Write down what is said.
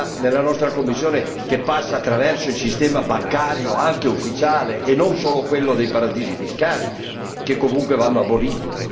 Costa che passa attraverso il sistema bancario, anche ufficiale, e non solo quello dei paradisi fiscali, che comunque vanno aboliti?